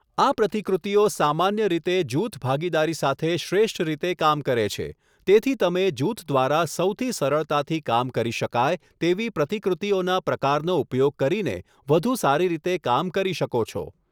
આ પ્રતિકૃતિઓ સામાન્ય રીતે જૂથ ભાગીદારી સાથે શ્રેષ્ઠ રીતે કામ કરે છે, તેથી તમે જૂથ દ્વારા સૌથી સરળતાથી કામ કરી શકાય તેવી પ્રતિ કૃતિઓના પ્રકારનો ઉપયોગ કરીને વધુ સારી રીતે કામ કરી શકો છો.